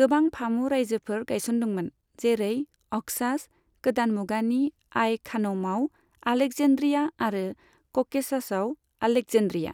गोबां फामु रायजोफोर गायसनदोंमोन, जेरै अक्सास, गोदान मुगानि आइ खानौमआव आलेक्जेन्ड्रिया आरो क'केशासआव आलेक्जेन्ड्रिया।